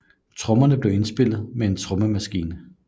Trommerne blev indspillet med en trommemaskine